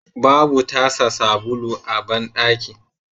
Babu tasa sabulu a bandaki